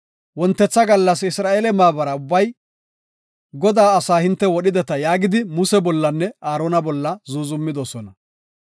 Wontetha gallas Isra7eele maabara ubbay, “Godaa asaa hinte wodhideta” yaagidi Muse bollanne Aarona bolla zuuzumidosona.